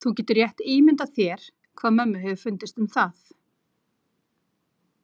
Þú getur rétt ímyndað þér hvað mömmu hefur fundist um það.